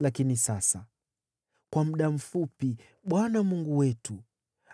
“Lakini sasa, kwa muda mfupi, Bwana Mungu wetu